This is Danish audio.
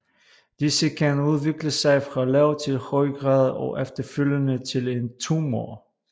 Disse kan udvikle sig fra lav til høj grad og efterfølgende til en tumor